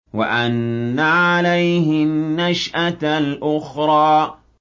وَأَنَّ عَلَيْهِ النَّشْأَةَ الْأُخْرَىٰ